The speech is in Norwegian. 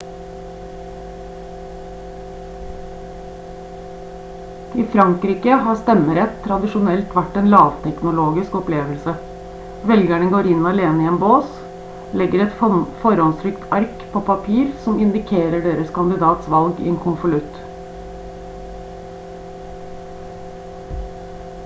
i frankrike har stemmerett tradisjonelt vært en lavteknologisk opplevelse velgerne går inn alene i en bås legger et forhåndstrykt ark på papir som indikerer deres kandidats valg i en konvolutt